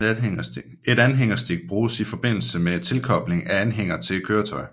Et anhængerstik bruges i forbindelse med tilkobling af anhænger til et køretøj